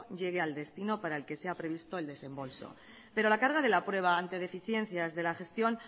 llegue al destino para el que se ha previsto el desembolso pero la carga de la prueba ante deficiencias de la gestión